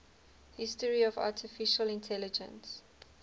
history of artificial intelligence